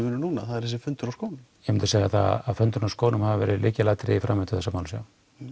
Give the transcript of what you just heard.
núna það er þessi fundur á skónum ég myndi segja það að fundurinn á skónum hafi verið lykilatriði í framvindu þessara máls já